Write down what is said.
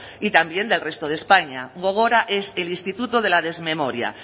y también del resto de españa gogora es el instituto de la desmemoria